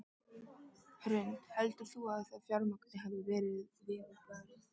Hrund: Heldur þú að því fjármagni hafi verið vel varið?